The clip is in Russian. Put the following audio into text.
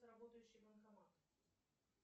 работающий банкомат